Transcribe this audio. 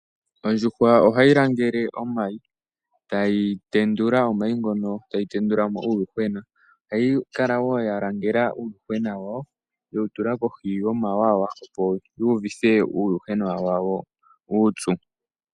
Ondjuhwa ohayi langele omayi tayi tendula omayi ngono tayi tendula mo uuyuhwena. Ohayi kala wo ya langela uuyuhwena wayo yewu tula kohi yo mawawa opo yi uvithe uuyuhwena wayo uupyu.